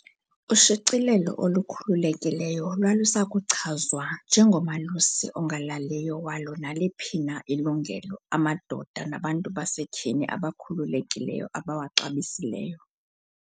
Ushicilelo olukhululekileyo lwalusakuchazwa 'nje ngomalusi ongalaliyo walo naliphi na ilungelo amadoda nabantu basetyhini abakhululekileyo abawaxabisileyo.'